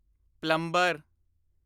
plumber